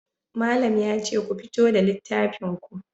Malam yace ku fito da littafin ku.